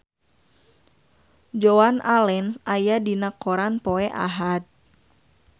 Joan Allen aya dina koran poe Ahad